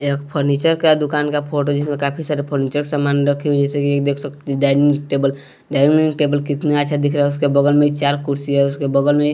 एक फर्नीचर का दुकान का फोटो जिसमें काफी सारे फर्नीचर सामान रखे हुए जैसे कि ये देख सकते हैं डाइनिंग टेबल डाइनिंग टेबल कितना अच्छा दिख रहा है उसके बगल में चार कुर्सी र्है उसके बगल में --